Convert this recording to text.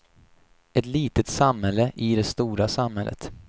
Ett litet samhälle i det stora samhället.